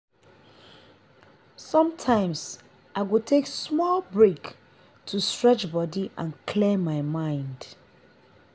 sometimes i go take small break to stretch body and clear my mind.